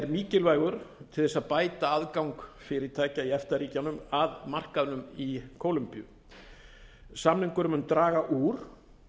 mikilvægur til þess að bæta aðgang fyrirtækja í efta ríkjunum að markaðnum í kólombíu samningurinn mun draga úr